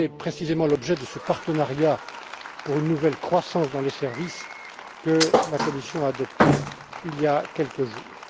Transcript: Et c'est précisément l'objet de ce partenariat pour une nouvelle croissance dans les services que la Commission a adopté il y a quelques jours.